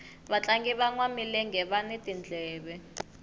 vatlangi vanwa milenge vani timendlele